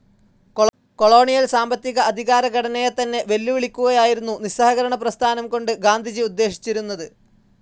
Colonial സാമ്പത്തിക, അധികാര ഘടനയെതന്നെ വെല്ലുവിളിക്കുകയായിരുന്നു നിസ്സഹകരണപ്രസ്ഥാനം കൊണ്ട് ഗാന്ധിജി ഉദ്ദേശിച്ചിരുന്നത്.